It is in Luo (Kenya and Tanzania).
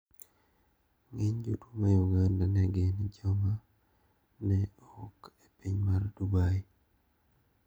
Ng`eny jotuo ma Uganda ne gin joma ne ouk e piny mar Dubai.